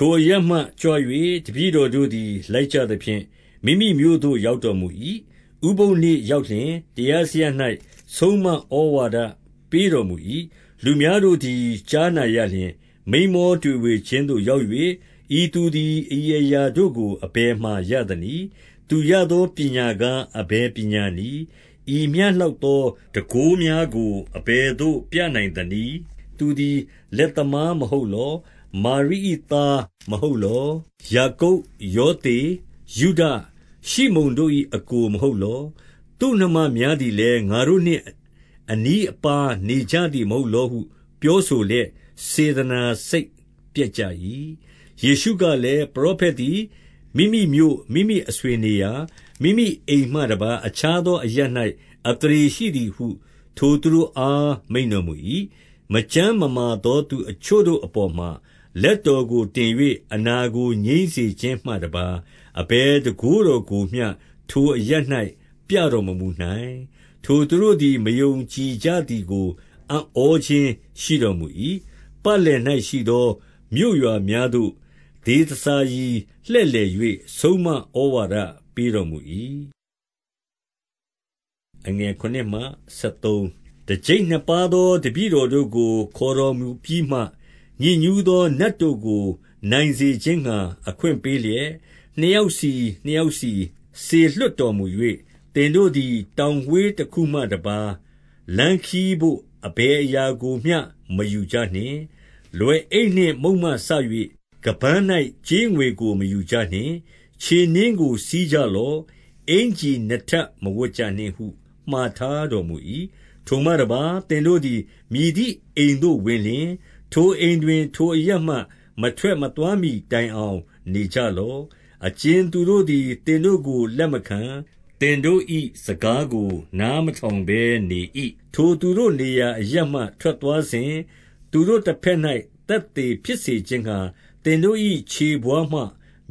ထိုအရပ်မှကြွ၍ တပည့်တော်တို့သည် လိုက်ကြသဖြင့် မိမိမြို့သို့ ရောက်တော်မူ၏။ 2 ဥပုသ်နေ့ရောက်လျှင် တရားစရပ်၌ ဆုံးမဩဝါဒပေးတော်မူ၏။ လူများတို့သည် ကြားနာရလျှင် မိန်းမောတွေဝေခြင်းသို့ ရောက်၍၊ ဤသူသည် ဤအရာတို့ကို အဘယ်မှာရသနည်း။ သူရသော ပညာကား အဘယ်ပညာနည်း။ ဤမျှလောက်သော တန်ခိုးများကို အဘယ်သို့ပြနိုင်သနည်း။ 3 သူသည် လက်သမားမဟုတ်လော။ မာရိ၏သား မဟုတ်လော။ ယာကုပ်၊ ယောသေ၊ ယုဒ၊ ရှိမုန်တို့၏ အစ်ကိုမဟုတ်လော။ သူ့နှမများသည်လည်း ငါတို့နှင့် အနီးအပါးနေကြသည်မဟုတ်လောဟု ပြောဆိုလျက် စေတနာစိတ်ပျက်ကြ၏။ 4 ယေရှုကလည်း၊ ပရောဖက်သည် မိမိမြို့၊ မိမိအဆွေနေရာ၊ မိမိအိမ်မှတပါး အခြားသောအရပ်၌ အသ ရေရှိသည်ဟု ထိုသူတို့အားမိန့်တော်မူ၏။ 5 မကျန်းမမာသောသူအချို့ကိုအပေါ်မှာ လက်တော်ကိုတင်၍ အနာကိုငြိမ်းစေခြင်းမှတပါး အဘယ် တန်ခိုးတော်ကိုမျှ ထိုအရပ်၌ ပြတော်မမူနိုင်။ 6 ထိုသူတို့သည် မယုံကြည်ကြသည်ကို အံ့ဩခြင်းရှိတော်မူ၏။ ပတ်လည်၌ရှိသော မြို့ရွာများသို့ ဒေသစာရီ လှည့်လည်၍ ဆုံးမဩဝါဒပေးတော်မူ၏။ 7 တကျိပ်နှစ်ပါးသောတပည့်တော်တို့ကို ခေါ်တော်မူပြီးမှ၊ ညစ်ညူးသောနတ်တို့ကို နိုင်စေခြင်းငှါ အခွင့် ပေးလျက်၊ နှစ်ယောက်စီနှစ်ယောက်စီစေလွှတ်တော်မူ၍၊ 8 သင်တို့သည် တောင်ဝေးတခုမှတပါး လမ်းခရီးတို့ အဘယ်အရာကိုမျှ မယူကြနှင့်။ လွယ်အိတ်နှင့်မုန့် မှစ၍ ခါးပန်း၌ ကြေးငွေကို မယူကြနှင့်။ 9 ခြေနင်းကို စီးကြလော့။ အင်္ကျီနှစ်ထပ်မဝတ်ကြနှင့်ဟု မှာထားတော်မူ၏။ 10 ထိုမှတပါး သင်တို့သည် မည်သည်အိမ်သို့ဝင်လျှင်၊ ထိုအိမ်တွင် ထိုအရပ်မှ မထွက်မသွားမှီတိုင်အောင် နေကြလော့။ 11 အကြင်သူတို့သည် သင်တို့ကို လက်မခံ၊ သင်တို့ ၏ စကားကိုနားမထောင်ဘဲနေ၏။ ထိုသူတို့နေရာ အရပ်မှ ထွက်သွားစဉ်၊ သူတို့တဘက်၌သက်သေဖြစ်စေခြင်းငှါ သင်တို့၏ခြေဘဝါးမှ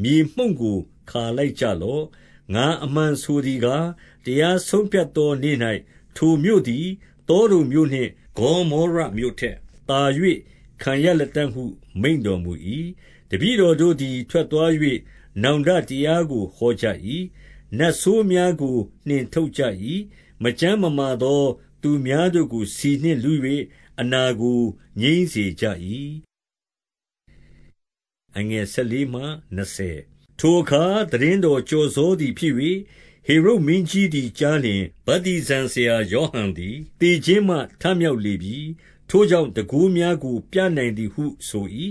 မြေမှုန့်ကို ခါလိုက်ကြ လော့။ ငါအမှန်ဆိုသည်ကား၊ တရားဆုံးဖြတ်သောနေ့၌ ထိုမြို့သည် သောဒုံမြို့နှင့် ဂေါမောရမြို့ထက်သာ ခံရ လတံ့ဟု မိန့်တော်မူ၏။ 12 တပည့်တော်တို့သည် ထွက်သွား၍ နောင်တတရားကိုဟောကြ၏။ 13 နတ်ဆိုးများကို နှင်ထုတ်ကြ၏။ မကျန်းမမာသော သူများတို့ကို ဆီနှင့်လူး၍ အနာကို ငြိမ်းစေကြ၏။ 14 ထိုအခါ သိတင်းတော်ကျော်စောသည်ဖြစ်၍၊ ဟေရုဒ်မင်းကြီးသည် ကြားလျှင်၊ ဗတ္တိဇံဆရာယောဟန် သည် သေခြင်းမှ ထမြောက်လေပြီ။ ထိုကြောင့် တန်ခိုးများကို ပြနိုင်သည်ဟု ဆို၏။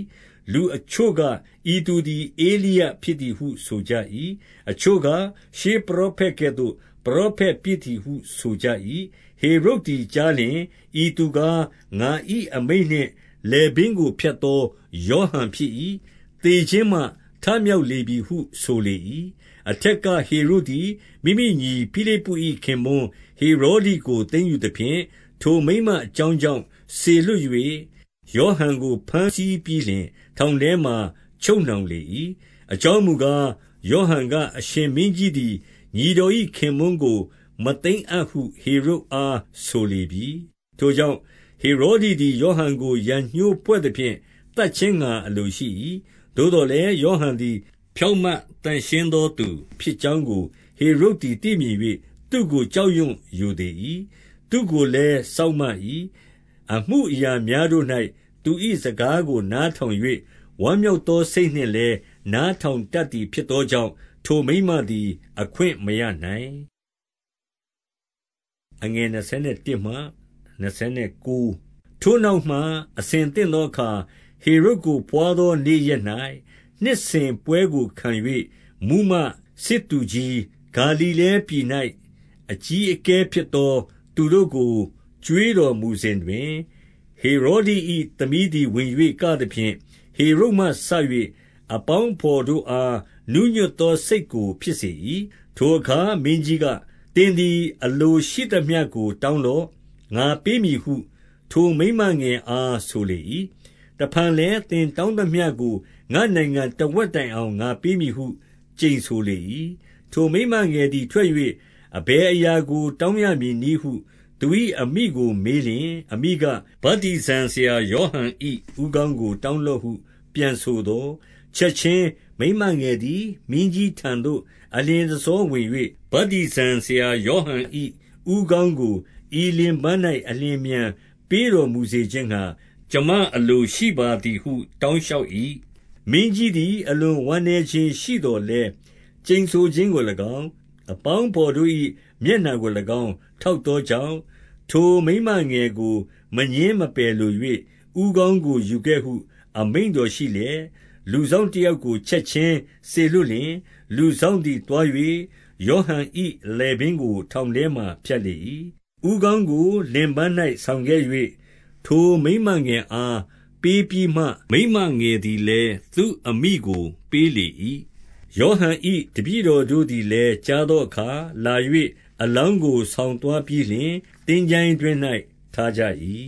15 လူအချို့က၊ ဤသူသည် ဧလိယဖြစ်သည်ဟု ဆိုကြ၏။ အချို့က၊ ရှေးပရောဖက်ကဲ့သို့ ပရောဖက်ဖြစ် သည်ဟု ဆိုကြ၏။ 16 ဟေရုဒ်သည် ကြားလျှင်၊ ဤသူကား ငါ၏အမိန့်နှင့် လည်ပင်းကိုဖြတ်သော ယောဟန်ဖြစ်၏။ သေခြင်းမှ ထမြောက်လေပြီဟု ဆိုလေ၏။ 17 အထက်က ဟေရုဒ်သည် မိမိညီ ဖိလိပ္ပု၏ ခင်ပွန်းဟေရောဒိကို သိမ်းယူသဖြင့်၊ ထိုမိန်းမအကြောင်း ကြောင့် စေလွှတ်၍ ယောဟန်ကို ဘမ်းဆီးပြီးလျှင် ထောင်ထဲမှာချုပ်နှောင်လေ၏။ 18 အကြောင်းမူကား၊ ယောဟန်က အရှင်မင်းကြီးသည် ညီတော်၏ခင်ပွန်းကို မသိမ်းအပ်ဟု ဟေရုဒ်အား ဆိုလေပြီ။ 19 ထိုကြောင့်၊ ဟေရောဒိသည် ယောဟန်ကို ရန်ငြိုးဖွဲ့သဖြင့် သတ်ခြင်းငှါအလိုရှိ၏။ 20 သို့သော်လည်း ယောဟန်သည် ဖြောင့်မတ်သန့်ရှင်းသောသူဖြစ်ကြောင်းကို ဟေရုဒ်သည် သိ၍ သူ့ကို ကြောက်ရွံ့ရိုသေ၏။ သူ့ကိုလည်း စောင့်မ၏။ အမူအရာများတို့၌ သူ၏စကားကို နားထောင်၍ ဝမ်းမြောက် သောစိတ်နှင့်လည်း နားထောင်တတ်သည် ဖြစ်သောကြောင့် ထိုမိန်းမသည် အခွင့်မရနိုင်။ 21 ထိုနောက်မှ အဆင်သင့်သောအခါ ဟေရုဒ်ကို ဘွားသောနေ့ရက်၌ နှစ်စဉ်ပွဲကိုခံ၍ မှူးမတ်၊ စစ်သူ ကြီး၊ ဂါလိလဲပြည်၌ အကြီးအကဲဖြစ်သောသူတို့ကို ကျွေးတော်မူစဉ်တွင်၊ 22 ဟေရောဒိ၏သမီးသည် ဝင်၍ ကသဖြင့်၊ ဟေရုဒ်မှစ၍ အပေါင်းအဘော်တို့အား နူးညွတ်သော စိတ် ကိုဖြစ်စေ၏။ ထိုအခါ မင်းကြီးက၊ သင်သည် အလိုရှိသမျှကို တောင်းလော့၊ ငါပေးမည်ဟု ထိုမိန်းမငယ်အား ဆိုလေ၏။ 23 တဖန်လည်း၊ သင်တောင်းသမျှကို ငါ့နိုင်ငံ တဝက်တိုင်အောင် ငါပေးမည်ဟု ကျိန်ဆိုလေ၏။ 24 ထိုမိန်းမငယ်သည် ထွက်၍ အဘယ်အရာကို တောင်းရမည်နည်းဟု သူ၏အမိကိုမေးလျှင် အမိက၊ ဗတ္တိဇံဆရာယောဟန်၏ ဦးခေါင်းကို တောင်းလော့ဟု ပြန်ဆိုသော်၊ 25 ချက်ခြင်းမိန်းမငယ်သည် မင်းကြီးထံသို့ အလျင်တဆောဝင်၍၊ ဗတ္တိဇံဆရာယောဟန်၏ ဦးခေါင်းကို ဤလင်ပန်း၌ အလျင်အမြန်ပေးတော်မူစေခြင်းငှါ ကျွန်မ အလိုရှိပါသည်ဟု တောင်းလျှောက်၏။ 26 မင်းကြီးသည် အလွန်ဝမ်းနည်းခြင်းရှိသော်လည်း၊ ကျိန်ဆိုခြင်းကို၎င်း၊ အပေါင်းအဘော်တို့၏ မျက်နှာ ကို၎င်း၊ ထောက်သောကြောင့်၊ ထိုမိန်းမငယ်ကို မငြင်းမပယ်လို၍၊ 27 ဦးခေါင်းကို ယူခဲ့ဟု အမိန့်တော်ရှိလျက် လူစောင့်တယောက်ကို ချက်ခြင်းစေလွှတ်လျှင်၊ လူစောင့် သည် သွား၍ ယောဟန်၏လည်ပင်းကို ထောင်ထဲမှာ ဖြတ်လေ၏။ 28 ဦးခေါင်းကို လင်ပန်း၌ဆောင်ခဲ့၍ ထိုမိန်းမငယ်အားပေးပြီးမှ မိန်းမငယ်သည်လည်း သူ့အမိကို ပေး လေ၏။ 29 ယောဟန်၏တပည့်တို့သည်လည်း ကြားသောအခါလာ၍အလောင်းကို ဆောင်သွားပြီးလျှင် သင်္ချိုင်း တွင်း၌ ထားကြ၏။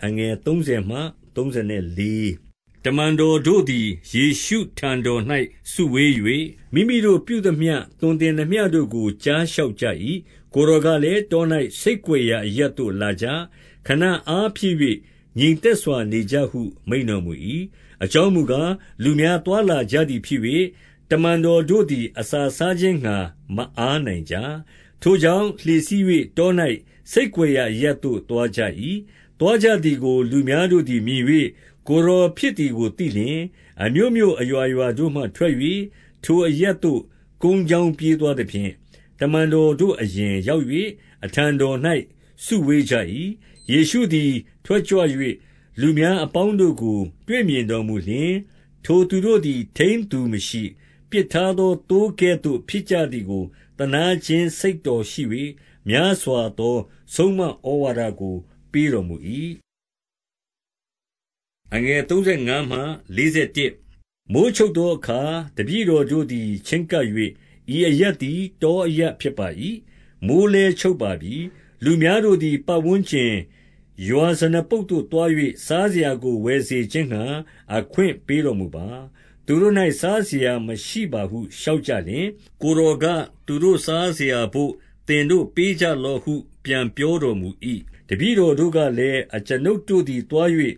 30 တမန်တော်တို့သည် ယေရှုထံတော်၌ စုဝေး၍၊ မိမိတို့ပြုသမျှ သွန်သင်သမျှတို့ကို ကြားလျှောက်ကြ၏။ 31 ကိုယ်တော်ကလည်း၊ တော၌ဆိတ်ကွယ်ရာအရပ်သို့ လာကြ။ ခဏအားဖြည့်၍ ငြိမ်သက်စွာ နေကြဟု မိန့်တော်မူ၏။ အကြောင်းမူကား၊ လူများ သွားလာကြသည်ဖြစ်၍ တမန်တော်တို့သည် အစာစားခြင်းငှါမျှ မအားနိုင်ကြ။ 32 ထိုကြောင့်၊ လှေစီး၍ တော၌ ဆိတ်ကွယ်ရာအရပ်သို့ သွားကြ၏။ 33 သွားကြသည်ကို လူများတို့သည်မြင်၍ ကိုယ်တော်ဖြစ်သည်ကို သိလျှင်၊ အမြို့မြို့အရွာရွာတို့မှ ထွက်၍ ထိုအရပ်သို့ ကုန်းကြောင်းပြေးသွားသဖြင့်၊ တမန်တော်တို့ အရင်ရောက်၍ အထံတော်၌စုဝေးကြ၏။ 34 ယေရှုသည် ထွက်ကြွ၍ လူများအပေါင်းတို့ကို တွေ့မြင်တော်မူလျှင်၊ ထိုသူတို့သည် ထိန်းသူမရှိ၊ ပစ်ထားသော သိုးကဲ့သို့ ဖြစ်ကြသည်ကို သနားခြင်းစိတ်တော်ရှိ၍ များစွာသော ဆုံးမဩဝါဒကို ပေးတော်မူ၏။ 35 မိုဃ်းချုပ်သောအခါ တပည့်တော်တို့သည် ချဉ်းကပ်၍၊ ဤအရပ်သည် တောအရပ်ဖြစ်ပါ၏။ မိုဃ်း လည်း ချုပ်ပါပြီ။ 36 လူများတို့သည် ပတ်ဝန်းကျင်ရွာဇနပုဒ်သို့သွား၍ စားစရာကိုဝယ်စေခြင်းငှါ အခွင့်ပေးတော်မူပါ။ သူ တို့၌ စားစရာမရှိပါဟု လျှောက်ကြလျှင်၊ 37 ကိုယ်တော်က၊ သူတို့စားစရာဘို့ သင်တို့ပေးကြလော့ဟု ပြန်ပြောတော်မူ၏။ တပည့်တော်တို့ကလည်း၊ အကျွန်ုပ်တို့သည် သွား၍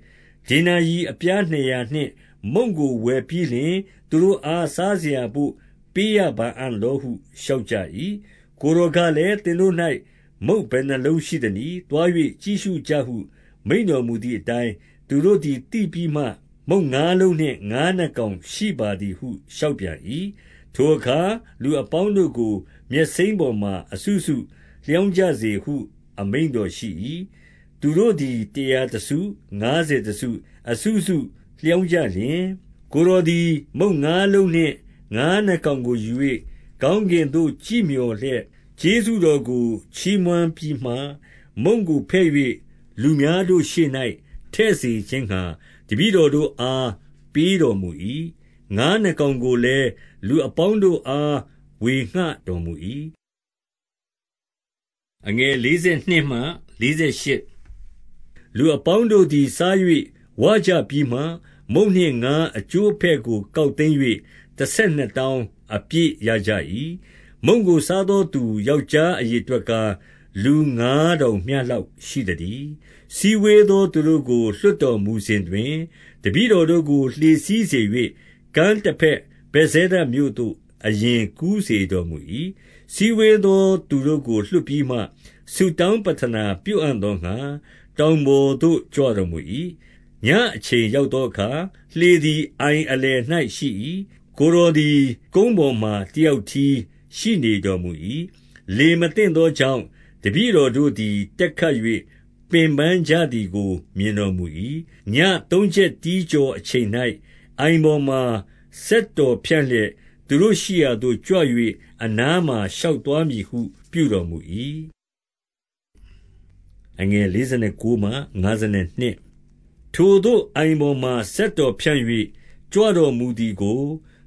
ဒေနာရိအပြားနှစ်ရာနှင့်မုန့်ကိုဝယ်ပြီးလျှင် သူတို့အား စားစရာဘို့ ပေးရပါအံ့လောဟု လျှောက်ကြ၏။ 38 ကိုယ်တော်ကလည်း၊ သင်တို့၌ မုန့်ဘယ်နှစ်လုံးရှိသနည်း။ သွား၍ ကြည့်ရှုကြဟု မိန့်တော်မူသည် အတိုင်း သူတို့သည် သိပြီးမှ၊ မုန့်ငါးလုံးနှင့် ငါးနှစ်ကောင် ရှိပါသည်ဟု လျှောက်ပြန်၏။ 39 ထိုအခါ လူအပေါင်းတို့ကို မြက်စိမ်းပေါ်မှာ အစုစုလျောင်းကြစေဟု အမိန့်တော်ရှိ၏။ 40 သူတို့သည် တရာတစု၊ ငါးဆယ်တစု၊ အစုစုလျောင်းကြလျှင်၊ 41 ကိုယ်တော်သည် မုန့်ငါးလုံးနှင့် ငါးနှစ်ကောင်ကိုယူ၍၊ ကောင်းကင်သို့ ကြည့်မျှော်လျက် ကျေးဇူးတော် ကို ချီးမွမ်းပြီးမှ မုန့်ကိုဖဲ့၍ လူများတို့ရှေ့၌ထည့်စေခြင်းငှါ တပည့်တော်တို့အား ပေးတော်မူ၏။ ငါးနှစ်ကောင်ကို လည်း လူအပေါင်းတို့အား ဝေငှတော်မူ၏။ 42 လူအပေါင်းတို့သည် စား၍ဝကြပြီးမှ၊ 43 မုန့်နှင့်ငါးအကျိုးအပဲ့ကို ကောက်သိမ်း၍ တဆယ်နှစ်တောင်း၊ အပြည့်ရကြ၏။ 44 မုန့်ကိုစားသောသူ ယောက်ျားအရေအတွက်ကား၊ လူငါးထောင်မျှလောက်ရှိသတည်း။ 45 စည်းဝေးသောသူတို့ကို လွှတ်တော်မူစဉ်တွင် တပည့်တော်တို့ လှေစီးစေ၍ ကမ်းတဘက်ဗက်ဇဲဒမြို့သို့ အရင်ကူးစေတော်မူ၏။ 46 စည်းဝေးသောသူတို့ကို လွှတ်ပြီးမှ ဆုတောင်းပဌနာပြုအံ့သောငှါ တောင်ပေါ်သို့ ကြွတော်မူ၏။ 47 ညအချိန်ရောက်သောအခါ လှေသည် အိုင်အလယ်၌ရှိ၏။ ကိုယ်တော်သည် ကုန်းပေါ်မှ တယောက် တည်း ရှိနေတော်မူ၏။ 48 လေမသင့်သောကြောင့် တပည့်တော်တို့သည် တက်ခတ်၍ပင်ပန်းကြသည်ကို မြင်တော်မူ၏။ ညသုံး ချက်တီးကျော်အချိန်၌ အိုင်ပေါ်မှ စက်တော်ဖြန့်လျက်၊ သူတို့ရှိရာသို့ကြွ၍ အနားမှာ ရှောက်သွားမည် ပြု တော်မူ၏။ 49 ထိုသို့ အိုင်ပေါ်မှာ စက်တော်ဖြန့်၍ ကြွတော်မူသည်ကို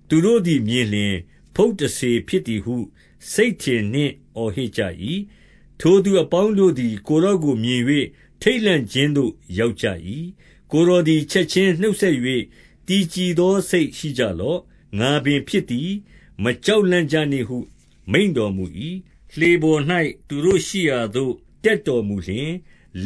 သူတို့သည်မြင်လျှင်၊ ဖုတ်တစ္ဆေဖြစ်သည်ဟု စိတ်ထင်နှင့် အော်ဟစ်ကြ၏။ 50 ထိုသူအပေါင်းတို့သည် ကိုယ်တော်ကိုမြင်၍ ထိတ်လန့်ခြင်းသို့ရောက်ကြ၏။ ကိုယ်တော်သည် ချက် ခြင်းနှုတ်ဆက်၍ တည်ကြည်သောစိတ်ရှိကြလော့။ ငါပင်ဖြစ်သည်၊ မကြောက်လန့်ကြနှင့်ဟု မိန့်တော်မူ၏။ 51 လှေပေါ်၌ သူတို့ရှိရာသို့ တက်တော်မူလျှင်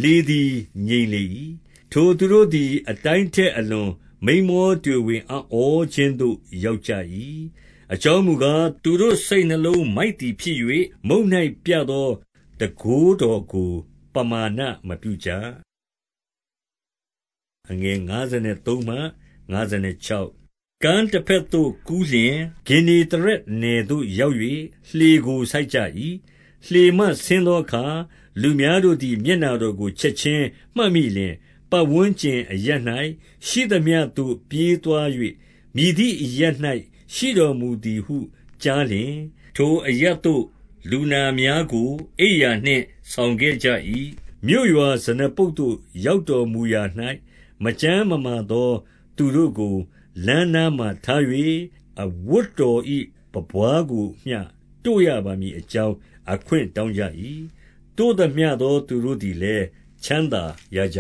လေသည်ငြိမ်လေ၏။ ထိုသူတို့သည် အတိုင်းထက်အလွန် မိန်းမောတွေဝေအံ့ဩခြင်းသို့ ရောက်ကြ၏။ 52 အကြောင်းမူကား၊ သူတို့စိတ်နှလုံး မိုက်သည်ဖြစ်၍ မုန့်၌ပြသောတန်ခိုးတော်ကို ပမာဏမပြုကြ။ 53 ကမ်းတဘက်သို့ကူးလျှင် ဂင်္နေသရက်နယ်သို့ရောက်၍ လှေကို ဆိုက်ကြ၏။ 54 လှေမှဆင်းသောအခါ လူများတို့သည် မျက်နှာတော်ကို ချက်ခြင်းမှတ်မိလျှင်၊ 55 ပတ်ဝန်းကျင်အရပ်၌ ရှိသမျှသို့ ပြေးသွား၍ မည်သည့်အရပ်၌ ရှိတော်မူသည်ဟုကြားလျှင်၊ ထိုအရပ် သို့ လူနာများကို အိပ်ရာနှင့် ဆောင်ခဲ့ကြ၏။ 56 မြို့ရွာဇနပုဒ်သို့ ရောက်တော်မူရာ၌ မကျန်းမမာသောသူတို့ကို လမ်းနားမှာထား၍ အဝတ်တော်၏ ပန်းပွါးကိုမျှတို့ရပါမည်အကြောင်း အခွင့်တောင်းကြ၏။ တို့သမျှသော သူတို့သည်လည်းချမ်းသာရကြ